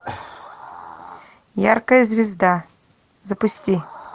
яркая звезда запусти